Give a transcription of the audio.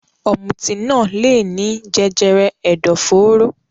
Ọ̀mùtí naa leèní jẹjẹrẹ ẹdọforo